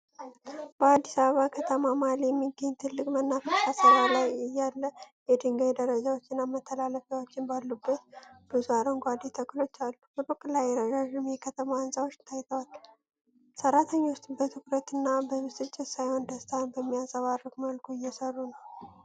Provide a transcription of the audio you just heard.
በአዲስ አበባ ከተማ መሃል የሚገኝ ትልቅ መናፈሻ ስራ ላይ እያለ፣ የድንጋይ ደረጃዎችና መተላለፊያዎች ባሉበት፣ ብዙ አረንጓዴ ተክሎች አሉ። ሩቅ ላይ ረዣዥም የከተማ ህንጻዎች ታይተዋል። ሰራተኞች በትኩረትና በብስጭት ሳይሆን ደስታን በሚያንጸባርቅ መልኩ እየሰሩ ነው።